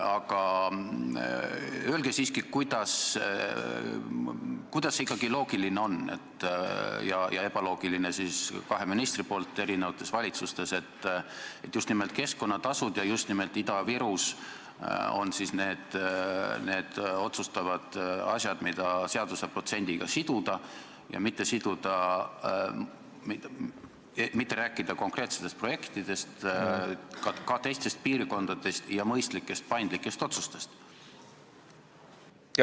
Aga öelge siiski, kuidas see ikkagi on loogiline – ja miks kaks ministrit eri valitsustes käitusid ebaloogiliselt –, et just nimelt keskkonnatasud ja just nimelt Ida-Virus on need otsustavad asjad, mida seaduses protsendiga siduda ja mitte rääkida konkreetsetest projektidest, ka teistest piirkondadest ja mõistlikest paindlikest otsustest?